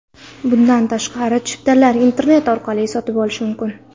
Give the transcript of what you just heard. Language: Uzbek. Bundan tashqari, chiptalarni internet orqali ham sotib olish mumkin.